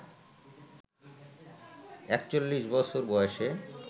৪১ বছর বয়সে